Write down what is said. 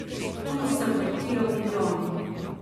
Tu se vrtijo milijoni.